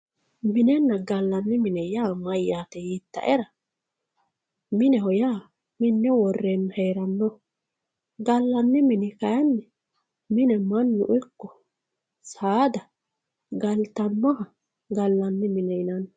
minenna gallanni mini mayyaate yiitaetera mineho yaa minne worreenna hee'rannoho gallanni mini kayiinni mine mannu ikko saada galtannoha gallanni mine yinanni.